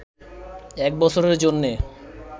এক বছরের জন্যে